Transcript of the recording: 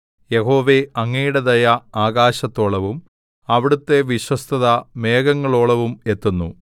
യഹോവേ അങ്ങയുടെ ദയ ആകാശത്തോളവും അവിടുത്തെ വിശ്വസ്തത മേഘങ്ങളോളവും എത്തുന്നു